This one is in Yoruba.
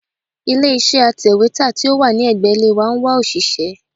Ilé iṣẹ́ atẹ̀wétà tí ó wà ní ẹ̀gbẹ́ ilé wa ń wá òṣìṣẹ́.